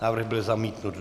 Návrh byl zamítnut.